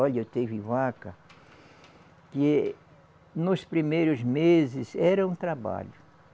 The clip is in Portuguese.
Olha, teve vaca que nos primeiros meses era um trabalho.